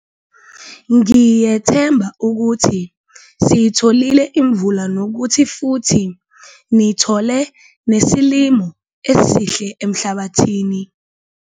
Ngiyethemba ukuthi siyitholile imvula nokuthi futhi nithole nesilimo esihle emhlabathini.